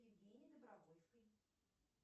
евгении добровольской